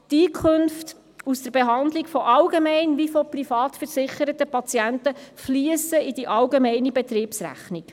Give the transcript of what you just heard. Die Einkunft aus der Behandlung sowohl von allgemein- als auch von privatversicherten Patienten fliesst in die allgemeine Betriebsrechnung.